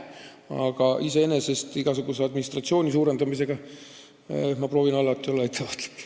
Aga iseenesest olen ma igasuguse administratsiooni suurendamisega ettevaatlik.